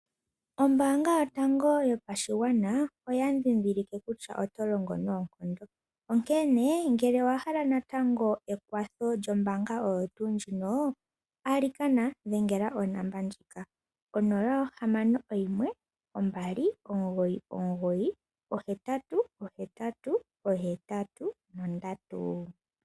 Ombaanga yotango yopashigwana oya ndhindhilike kutya oto longo noonkondo onkene ngele owa hala natango ekwatho lyombaanga oyo tuu ndjino, alikana dhengela ongodhi ndjika onola, ohamano oyimwe, ombali, omugoyi, omugoyi ohetatu, ohetatu, ohetatu nondatu.